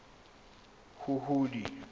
huhudi